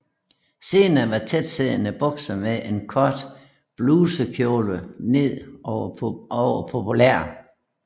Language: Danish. Senere var tætsiddende bukser med en kort blusekjole ned over populært